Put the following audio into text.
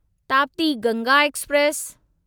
Tapti Ganga express